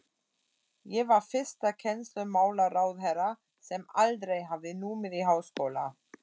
Ég var fyrsti kennslumálaráðherra, sem aldrei hafði numið í háskóla.